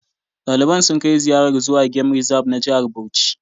Daliban sun kai ziyarar zuwa gem rizab na Jihar Bauchi